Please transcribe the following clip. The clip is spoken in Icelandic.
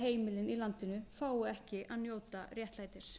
heimilin í landinu fái ekki að njóta réttlætis